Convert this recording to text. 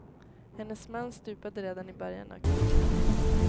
Hennes man stupade redan i början av kriget.